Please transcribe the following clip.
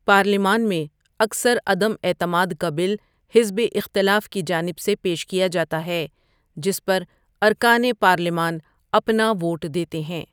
پارلیمان میں اکثر عدم اعتماد کا بل حزب اختلاف کے جانب سے پیش کیا جاتا ہے جس پر ارکانِ پارلیمان اپنا ووٹ دیتے ہیں ۔